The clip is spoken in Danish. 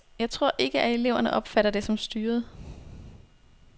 Jeg tror ikke, at eleverne opfatter det som styret.